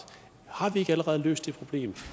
har vi ikke allerede løst det problem